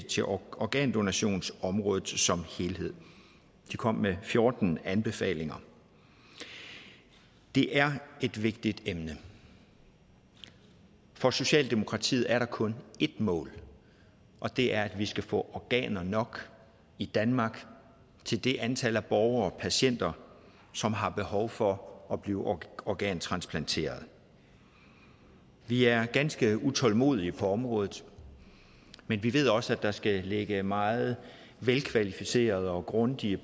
til organdonationsområdet som helhed de kom med fjorten anbefalinger det er et vigtigt emne for socialdemokratiet er der kun et mål og det er at vi skal få organer nok i danmark til det antal borgere patienter som har behov for at blive organtransplanteret vi er ganske utålmodige på området men vi ved også at der skal ligge meget velkvalificerede og grundige